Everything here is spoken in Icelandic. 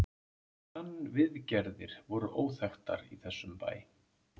TannVIÐGERÐIR voru óþekktar í þessum bæ.